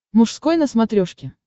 мужской на смотрешке